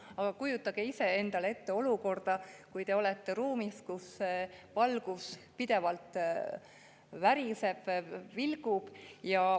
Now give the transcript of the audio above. Aga kujutage ise endale ette olukorda, kui te olete ruumis, kus valgus pidevalt väriseb ja vilgub.